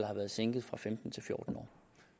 har været sænket fra femten år til fjorten år